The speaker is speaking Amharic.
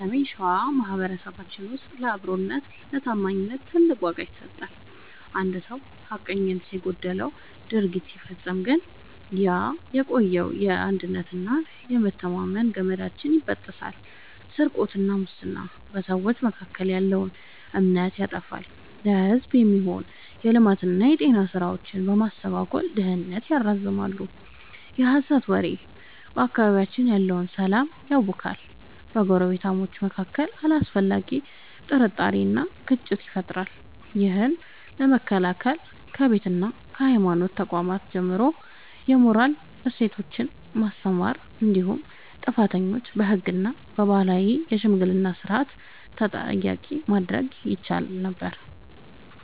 በሰሜን ሸዋ ማኅበረሰባችን ውስጥ ለአብሮነትና ለታማኝነት ትልቅ ዋጋ ይሰጣል። አንድ ሰው ሐቀኝነት የጎደለው ድርጊት ሲፈጽም ግን ያ የቆየው የአንድነትና የመተማመን ገመዳችን ይበጠሳል። ስርቆትና ሙስና፦ በሰዎች መካከል ያለውን እምነት ያጠፋሉ፤ ለሕዝብ የሚሆኑ የልማትና የጤና ሥራዎችን በማስተጓጎል ድህነትን ያራዝማሉ። የሐሰት ወሬ፦ በአካባቢያችን ያለውን ሰላም ያውካል፤ በጎረቤታማቾች መካከል አላስፈላጊ ጥርጣሬንና ግጭትን ይፈጥራል። ይህን ለመከላከል ከቤትና ከሃይማኖት ተቋማት ጀምሮ የሞራል እሴቶችን ማስተማር እንዲሁም ጥፋተኞችን በሕግና በባህላዊ የሽምግልና ሥርዓት ተጠያቂ ማድረግ ይቻል ነበር።